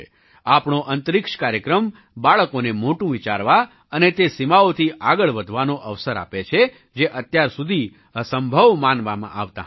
આપણો અંતરિક્ષ કાર્યક્રમ બાળકોને મોટું વિચારવા અને તે સીમાઓથી આગળ વધવાનો અવસર આપે છે જે અત્યાર સુધી અસંભવ માનવામાં આવતાં હતાં